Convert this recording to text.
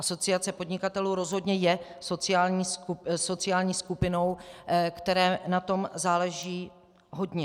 Asociace podnikatelů rozhodně je sociální skupinou, které na tom záleží hodně.